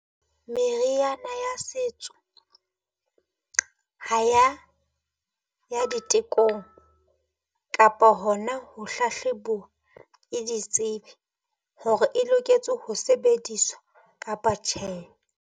Meriana ya setso ha ya ya ditekong kapa hona ho hlahlebuwa ke ditsebi hore e loketse ho sebediswa kapa tjhe.